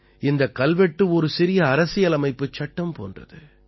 இந்தக் கல்வெட்டு ஒரு சிறிய அரசியலமைப்புச் சட்டம் போன்றது